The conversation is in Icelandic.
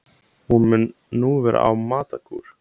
Hún mun nú vera á matarkúr